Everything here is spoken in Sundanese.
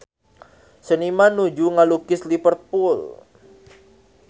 Seniman nuju ngalukis Liverpool